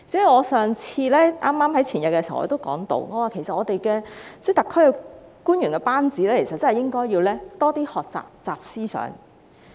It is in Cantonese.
我在前天的會議上提到，我們特區的官員班子應該多學習"習思想"。